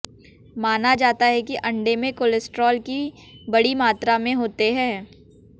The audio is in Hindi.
माना जाता है कि अंडे में कोलेस्ट्रॉल की बड़ी मात्रा में होते हैं